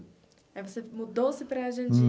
Aí você mudou-se para a Jandira?